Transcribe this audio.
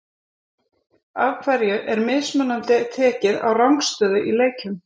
Af hverju er mismunandi tekið á rangstöðu í leikjum?